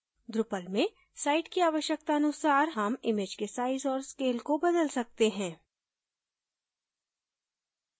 drupal में site की आवश्यकता अनुसार हम image के size और scale को बदल सकते हैं